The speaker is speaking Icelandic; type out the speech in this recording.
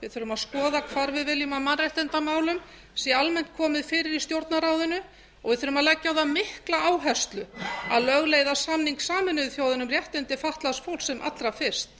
við þurfum að skoða hvað við viljum að mannréttindamálum sé almennt komið fyrir í stjórnarráðinu og við þurfum að leggja á það mikla áherslu að lögleiða samning sameinuðu þjóðanna um réttindi fatlaðs fólks sem allra fyrst